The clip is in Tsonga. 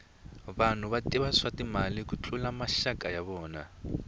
vanhu va tiva swa timali ku tlula maxaka ya vona